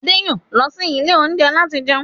Adé yòó lọ sí ilé oúnjẹ láti jẹun.